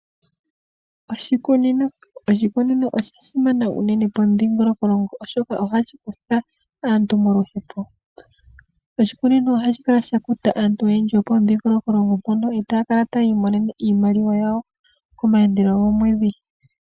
Oshikunino osha simana unene pomudhiingoloko oshoka ohashi kutha aantu moluhepo. Oshikunino ohashi kala sha kuta aantu oyendji yopo mudhiingoloko mpoka etaya kala tayiimonene iimaliwa yawo komaandelo gomwedhi.